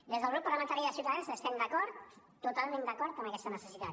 des del grup parlamentari de ciutadans estem d’acord totalment d’acord amb aquesta necessitat